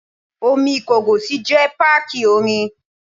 Omi Ìkọgòsì jẹ́ páàkì omi.